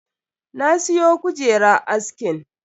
Na siyo kujerar askin.